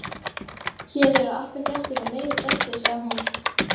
Hér eru alltaf gestir og meiri gestir, sagði hún.